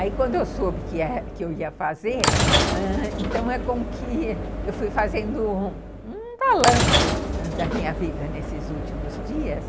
Aí, quando eu soube que eu ia fazer, ãh, então é com que eu fui fazendo um balanço da minha vida nesses últimos dias.